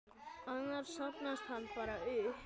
Annars safnast hann bara upp.